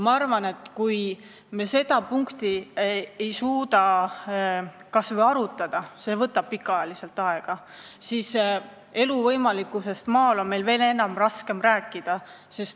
Ma arvan, et kui me ei suuda seda punkti kas või arutada – see võtab aega –, siis on meil elu võimalikkusest maal veel raskem rääkida.